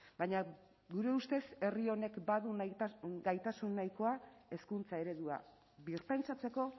baina gure ustez herri honek badu gaitasun nahikoa hezkuntza eredua birpentsatzeko